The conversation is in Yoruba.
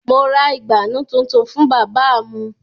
Mo ra ìgbànú tuntun fún bábà mu